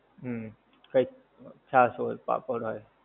હુંમ, કઈક છાસ હોય, પાપડ હોય.